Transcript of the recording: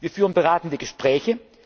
getan. Wir führen beratende